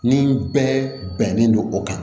Ni bɛɛ bɛnnen don o kan